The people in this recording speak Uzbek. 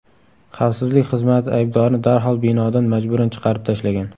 Xavfsizlik xizmati aybdorni darhol binodan majburan chiqarib tashlagan.